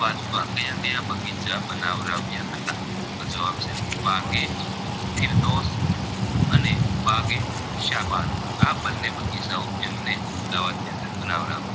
તો જવાબ છે બાગ એકબાગેઅને બાગેશાબાન આ બને બગીચાઓ તેમને અહમદાવાદની અંદર બનાવરાવ્યા